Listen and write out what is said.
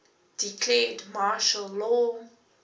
declared martial law